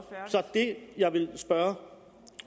det jeg vil spørge